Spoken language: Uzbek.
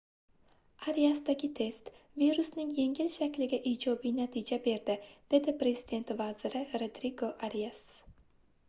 ariasdagi test virusning yengil shakliga ijobiy natija berdi dedi prezident vaziri rodrigo arias